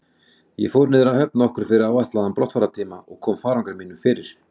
Ég fór niður að höfn nokkru fyrir áætlaðan brottfarartíma og kom farangri mínum fyrir.